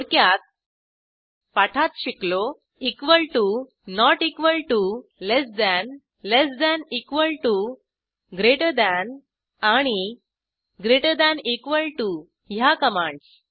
थोडक्यात पाठात शिकलो equal to not equal to less than less than equal to greater than आणि greater than equal to ह्या commands